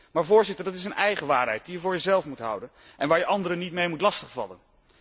Maar dat is een eigen waarheid, die je voor jezelf moet houden en waar je anderen niet mee moet lastigvallen.